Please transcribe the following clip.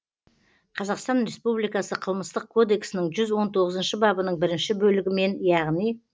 қазақстан республикасы қылмыстық кодексінің жүз он тоғызыншы бабының бірінші бөлігімен яғни